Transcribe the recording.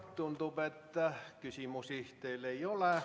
Tundub, et küsimusi teile ei ole.